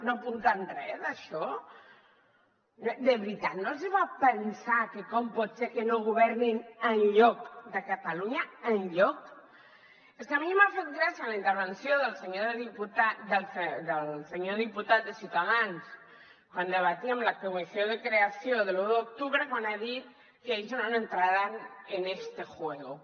no apunten re d’això de veritat no els fa pensar que com pot ser que no governin enlloc de catalunya enlloc és que a mi m’ha fet gràcia la intervenció del senyor diputat de ciutadans quan debatíem la creació de la comissió de l’u d’octubre quan ha dit que ells no entrarán en este juego